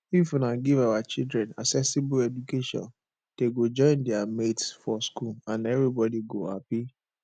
if una give our children accessible education dey go join their mates for school and everybody go happy